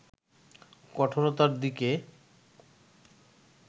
কঠোরতার দিকে